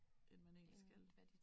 End man egentlig skal